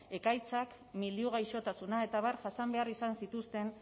ekaitzak milioi gaixotasuna eta abar jasan behar izan zituzten